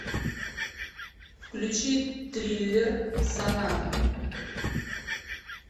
включи триллер соната